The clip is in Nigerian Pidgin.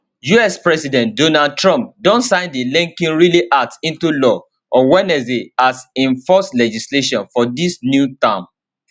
us president donald trump don sign di laken riley act into law on wednesday as im first legislation for dis new term